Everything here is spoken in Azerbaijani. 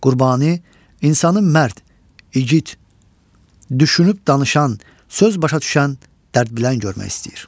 Qurbani insanı mərd, igid, düşünüb danışan, söz başa düşən, dərd bilən görmək istəyir.